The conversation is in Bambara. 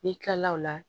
N'i kila la o la